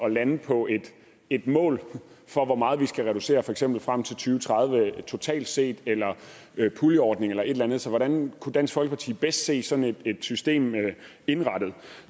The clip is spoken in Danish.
at lande på et mål for hvor meget vi skal reducere for eksempel frem tusind og tredive totalt set eller ved puljeordning eller et eller andet så hvordan kunne dansk folkeparti bedst se sådan et system indrettet